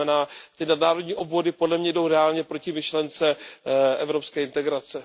To znamená, ty nadnárodní obvody podle mě jdou reálně proti myšlence evropské integrace.